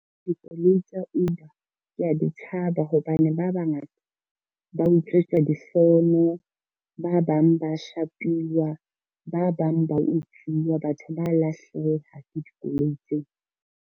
Dikoloi tsa Uber kea di tshaba hobane ba bangata, ba utswetswa difono, ba bang ba shapiwa, ba bang ba utsuwa batho ba lahleha ke dikoloi tseo.